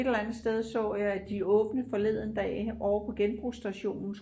et eller andet sted så jeg at de åbnede forleden dag ovre på genbrugsstationen